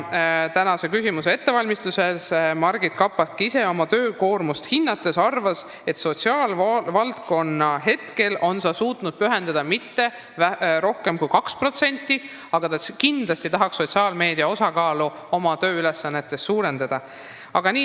Tänasele küsimusele vastust ette valmistades arvas Margit Kapak ise oma töökoormust hinnates, et sotsiaalvaldkonnale on ta suutnud pühendada oma tööajast mitte rohkem kui 2%, aga ta kindlasti tahaks sotsiaalmeedia osakaalu oma tööülesannetes suurendada.